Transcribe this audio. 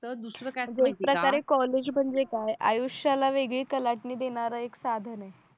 तर दुसरा काय जे एक प्रकारे कॉलेज म्हणजे काय आयुष्याला वेगळी कलाटणी देणारा एक साधन आहे